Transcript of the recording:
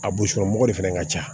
A boso mɔgɔ de fɛnɛ ka ca